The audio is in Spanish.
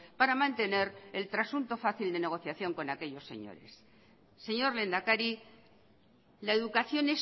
para mantener el trasunto fácil de negociación con aquellos señores señor lehendakari la educación